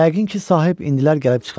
Yəqin ki, sahib indilər gəlib çıxar.